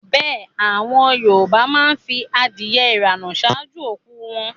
Bẹ́ẹ̀ àwọn Yorùbá má ń fi adìẹ ìrànà ṣáájú òkú u wọn